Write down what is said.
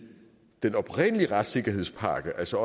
den oprindelige retssikkerhedspakke altså